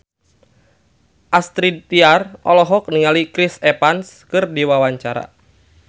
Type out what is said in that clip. Astrid Tiar olohok ningali Chris Evans keur diwawancara